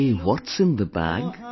Say, What's in the bag